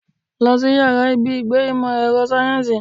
Lọ sí ìyára ibi ìgbé ìmò èrò sáyẹ́nsì.